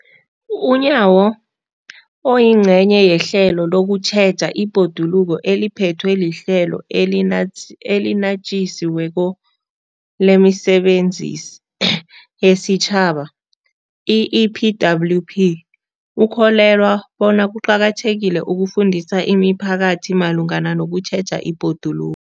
UNyawo, oyingcenye yehlelo lokutjheja ibhoduluko eliphethwe liHlelo eliNatjisi weko lemiSebenzi yesiTjhaba, i-EPWP, ukholelwa bona kuqakathekile ukufundisa imiphakathi malungana nokutjheja ibhodulu